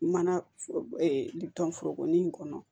Mana litɔn foroko nin kɔnɔ